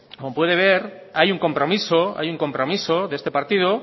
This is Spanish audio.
como puede ver hay un compromiso hay un compromiso de este partido